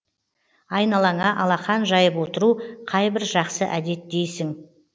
айналаңа алақан жайып отыру қайбір жақсы әдет дейсің